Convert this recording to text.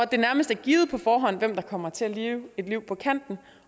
det nærmest er givet på forhånd hvem der kommer til at leve et liv på kanten